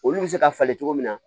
Olu bɛ se ka falen cogo min na